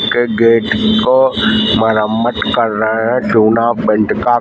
के गेट को मुरम्मत कर रहा है चुना पेंट का।